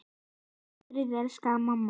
Hvíl í friði elsku mamma.